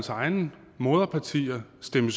egne moderpartier stemte